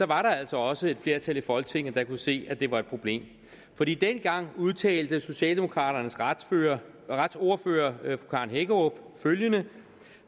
var der altså også et flertal i folketinget der kunne se at det var et problem fordi dengang udtalte socialdemokraternes retsordfører fru karen hækkerup følgende